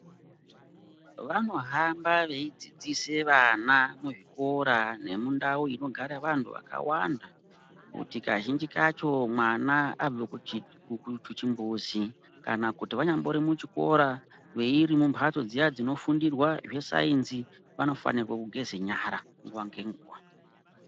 Vanohamba veidzidzise vana muzvikora nemundau inogare vantu vakawanda ,kuti kazhinji kacho mwana abve kuchi kukuchimbuzi, kana kuti vanyambori kuchikora, kana iri mumphatso dziya dzinofundirwa zvesainzi ,vanofanirwa kugeza nyara nguwa ngenguwa.